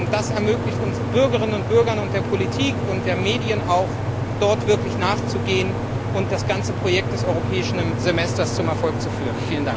Das ermöglicht uns Bürgerinnen und Bürgern und der Politik und auch den Medien, dem wirklich nachzugehen und das ganze Projekt des Europäischen Semesters zum Erfolg zu führen.